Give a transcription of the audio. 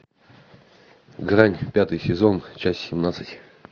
грань пятый сезон часть семнадцать